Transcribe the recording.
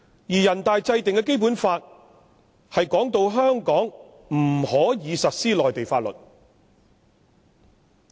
全國人大制定的《基本法》，訂明香港不能實施內地法律。